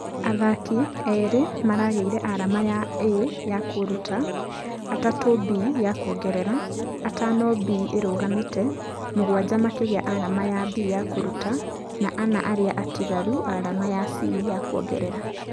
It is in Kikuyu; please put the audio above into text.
Athaki ĩrĩ marageire arama ya A ya kũruta, atatũ B ya kuongerera , atano B ĩrũgamĩte, mũgwaja makĩgĩa arama ya B ya kũruta na ana arĩa atigaru arama ya C ya kuongerera.